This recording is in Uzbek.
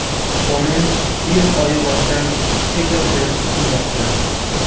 Qonun iyun oyi boshidan kuchga kirishi kutilmoqda.